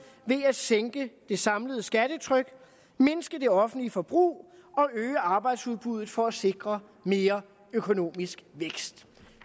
ved at sænke det samlede skattetryk mindske det offentlige forbrug og øge arbejdsudbuddet for at sikre mere økonomisk vækst